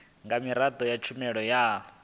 nga miraḓo ya tshumelo ya